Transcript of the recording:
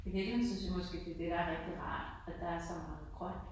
Til gengæld synes jeg måske det er det der er rigtig rart. At der er så meget grønt